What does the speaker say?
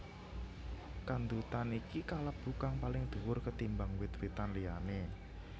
Kandutan iki kalebu kang paling duwur ketimbang wit witan liyané